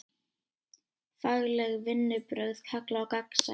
Fagleg vinnubrögð kalla á gagnsæi.